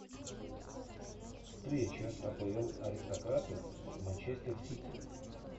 встреча апл аристократы манчестер сити